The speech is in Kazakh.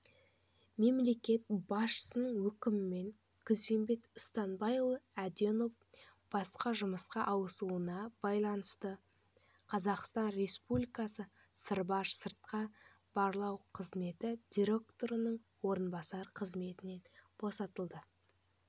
мемлекет басшысының өкімімен күзембек станбайұлы әденов басқа жұмысқа ауысуына байланысты қазақстан республикасы сырбар сыртқы барлау қызметі директорының орынбасары қызметінен босатылды